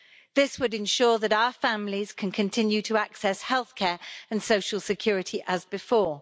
This would ensure that our families can continue to access healthcare and social security as before.